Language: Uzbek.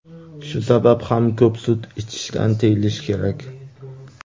Shu sabab ham ko‘p sut ichishdan tiyilish kerak.